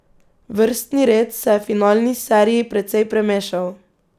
Vrstni red se je v finalni seriji precej premešal.